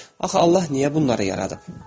Axı Allah niyə bunları yaradıb?